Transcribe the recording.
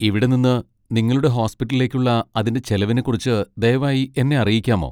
ഇവിടെ നിന്ന് നിങ്ങളുടെ ഹോസ്പിറ്റലിലേക്കുള്ള അതിന്റെ ചെലവിനെക്കുറിച്ച് ദയവായി എന്നെ അറിയിക്കാമോ?